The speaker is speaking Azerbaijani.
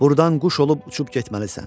Burdan quş olub uçub getməlisən.